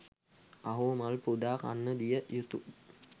අහෝ මල් පුදා කන්න දිය යුතු